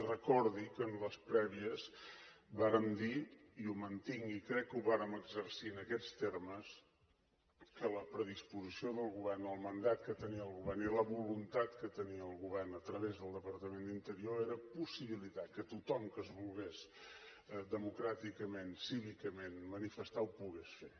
recordi que en les prèvies vàrem dir i ho mantinc i crec que ho vàrem exercir en aquests termes que la predisposició del govern el mandat que tenia el govern i la voluntat que tenia el govern a través del departament d’interior era possibilitar que tothom que es volgués democràticament i cívicament manifestar ho pogués fer